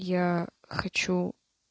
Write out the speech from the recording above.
я хочу